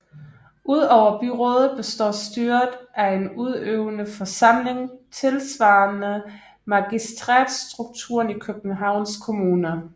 Udover byrådet består styret af en udøvende forsamling tilsvarende magistratstrukturen i Københavns Kommune